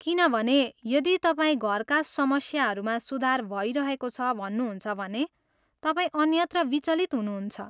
किनभने, यदि तपाईँ घरका समस्याहरूमा सुधार भइरहेको छ भन्नुहुन्छ भने, तपाईँ अन्यत्र विचलित हुनुहुन्छ।